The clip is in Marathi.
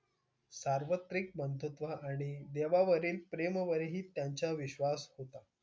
सार्वत्रिक बंधुत्व आणि देवावरील प्रेमावरही त्यांचा विश्वास होता.